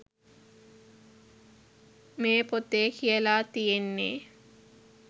මේ පොතේ කියලා තියෙන්නේ.